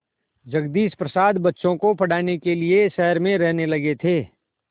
जगदीश प्रसाद बच्चों को पढ़ाने के लिए शहर में रहने लगे थे